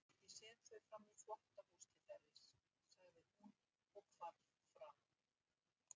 Ég set þau framí þvottahús til þerris, sagði hún og hvarf fram.